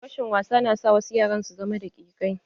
Rashin wasa na sa wasu yara su zama daƙikai.